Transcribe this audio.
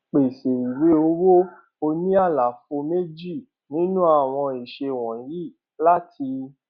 pèsè ìwé owó oní àlàfo méjì nínú àwọn ìṣe wọnyí láti